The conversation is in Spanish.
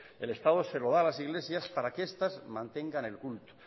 el estado se lo da a las iglesias para que estas mantengan el culto